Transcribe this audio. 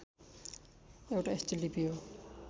एउटा यस्तो लिपि हो